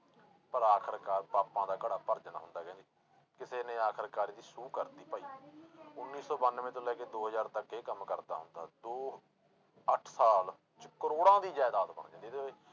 ਪਰ ਆਖਿਰਕਾਰ ਪਾਪਾਂ ਦਾ ਘੜਾ ਭਰ ਜਾਂਦਾ ਹੁੰਦਾ ਕਹਿੰਦੇ, ਕਿਸੇ ਨੇ ਆਖਿਰਕਾਰ ਇਹਦੀ ਸੂਹ ਕਰ ਦਿੱਤੀ ਭਾਈ ਉੱਨੀ ਸੌ ਬਾਨਵੇਂ ਤੋਂ ਲੈ ਕੇ ਦੋ ਹਜ਼ਾਰ ਤੱਕ ਇਹ ਕੰਮ ਕਰਦਾ ਹੁੰਦਾ, ਦੋ ਅੱਠ ਸਾਲ 'ਚ ਕਰੌੜਾਂ ਦੀ ਜ਼ਾਇਦਾਦ ਬਣ ਜਾਂਦੀ ਐ।